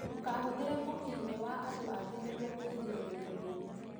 Ndũkahũthĩre mũkinyĩ wa andũ angĩ nĩguo kwĩrigĩrĩrĩa mĩrimũ.